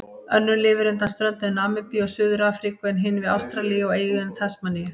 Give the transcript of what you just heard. Önnur lifir undan ströndum Namibíu og Suður-Afríku en hin við Ástralíu, við eyjuna Tasmaníu.